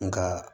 Nka